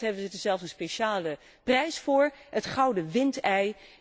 In Nederland hebben we er zelfs een speciale prijs voor het gouden windei.